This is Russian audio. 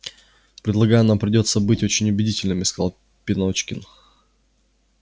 полагаю нам придётся быть очень убедительными сказал пеночкин